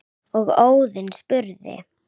og Óðinn spurði